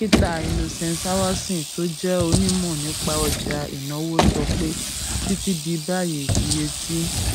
dókítà innocent awason tó jé onímò nípa ọjà ìnáwó sọ pé títí di báyìí iye tí